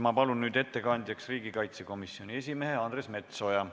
Ma palun nüüd ettekandjaks riigikaitsekomisjoni esimehe Andres Metsoja.